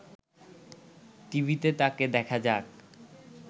টিভিতে তাকে দেখা যাক